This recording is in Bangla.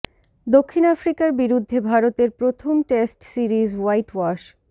দক্ষিণ আফ্রিকার বিরুদ্ধে ভারতের প্রথম টেস্ট সিরিজ হোয়াইট ওয়াশ